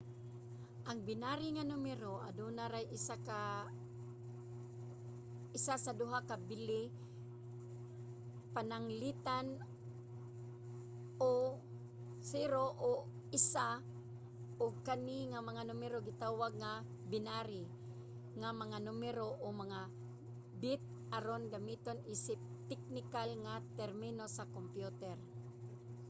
ang binary nga numero aduna ray isa sa duha ka bili pananglitan 0 o 1 ug kani nga mga numero gitawag nga binary nga mga numero - o mga bit aron gamiton isip teknikal nga termino sa kompyuter